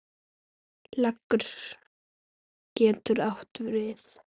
Leggur getur átt við